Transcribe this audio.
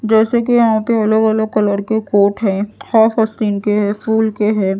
जैसे कि यहां पे अलग अलग कलर के कोट हैं के है फूल के हैं।